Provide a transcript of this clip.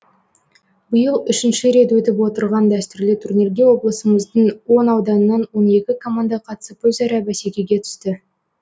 биыл үшінші рет өтіп отырған дәстүрлі турнирге облысымыздың он ауданынан он екі команда қатысып өзара бәсекеге түсті